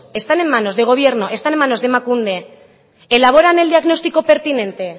están en manos del gobierno están en manos de emakunde elaboran el diagnóstico pertinente